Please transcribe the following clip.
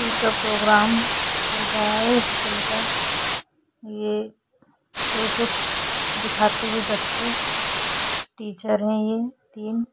school का programme चल रहा है स्कूल का ये प्रोजेक्ट दिखाते हुए बच्चे कुछ टीचर हैं तीन --